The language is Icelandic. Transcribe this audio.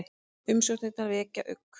Umsóknirnar vekja ugg